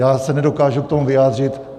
Já se nedokážu k tomu vyjádřit.